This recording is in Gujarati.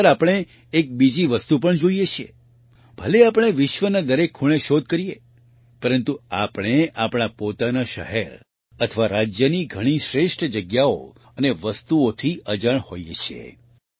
ઘણીવાર આપણે એક બીજી વસ્તુ પણ જોઈએ છીએ ભલે આપણે વિશ્વના દરેક ખૂણે શોધ કરીએ પરંતુ આપણે આપણા પોતાના શહેર અથવા રાજ્યની ઘણી શ્રેષ્ઠ જગ્યાઓ અને વસ્તુઓથી અજાણ હોઈએ છીએ